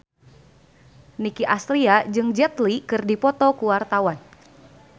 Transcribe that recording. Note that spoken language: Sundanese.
Nicky Astria jeung Jet Li keur dipoto ku wartawan